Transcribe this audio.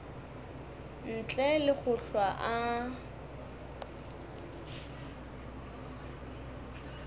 ntle le go hlwa a